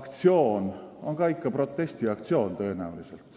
aktsioon on ka ikka protestiaktsioon.